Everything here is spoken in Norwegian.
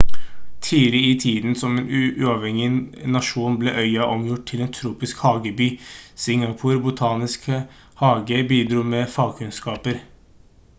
tidlig i tiden som en uavhengig nasjon ble øya omgjort til en tropisk hageby singapor botaniske hage bidro med fagkunnskaper